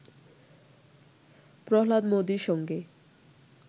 প্রহ্লাদ মোদির সঙ্গে